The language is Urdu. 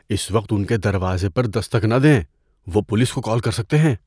اس وقت ان کے دروازے پر دستک نہ دیں۔ وہ پولیس کو کال کر سکتے ہیں۔